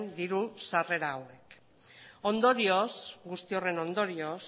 diru sarrera hauek ondorioz guzti horren ondorioz